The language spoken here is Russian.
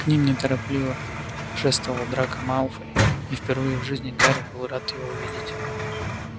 к ним неторопливо шествовал драко малфой и впервые в жизни гарри был рад его видеть